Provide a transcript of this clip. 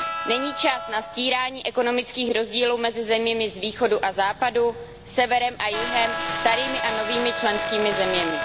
Není čas na stírání ekonomických rozdílů mezi zeměmi z východu a západu, severem a jihem, starými a novými členskými zeměmi.